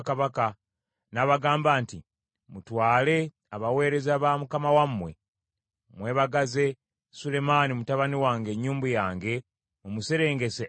n’abagamba nti, “Mutwale abaweereza ba mukama wammwe, mwebagaze Sulemaani mutabani wange ennyumbu yange, mumuserengese e Gikoni.